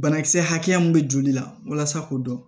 Banakisɛ hakɛya mun be joli la walasa k'o dɔn